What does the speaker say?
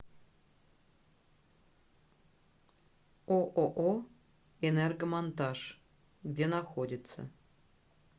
ооо энергомонтаж где находится